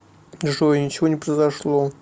джой ничего не произошло